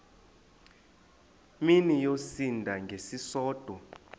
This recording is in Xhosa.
mini yosinda ngesisodwa